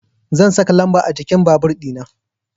Zan saka lamba a jikin babur dina